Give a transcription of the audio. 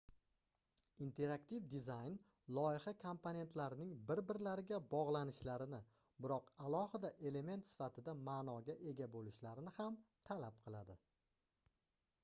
interaktiv dizayn loyiha komponentlarining bir-birlariga bogʻlanishlarini biroq alohida element sifatida maʼnoga ega boʻlishlarini ham talab qiladi